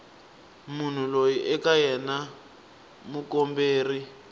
munhu loyi eka yena mukomberi